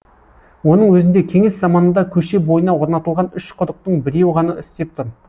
оның өзінде кеңес заманында көше бойына орнатылған үш құдықтың біреуі ғана істеп тұр